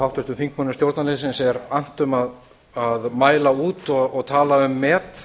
háttvirtum þingmönnum stjórnarliðsins er annt um að mæla út og tala um met